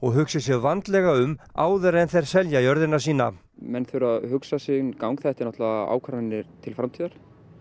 hugsi sig vandlega um áður en þeir selja jörðina sína menn þurfa að hugsa sinn gang þetta eru náttúrulega ákvarðanir til framtíðar